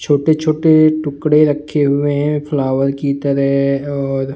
छोटे-छोटे टुकड़े रखे हुए हैं फ्लावर की तरह और --